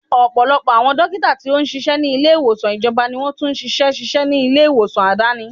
Ọ̀pọ̀lọpọ̀ àwọn dókítà tí ó ṣíṣe ni ilé ìwòsàn ìjọba ni wọn tún ṣíṣe ṣíṣe ní ilé ìwòsàn Aládàáni.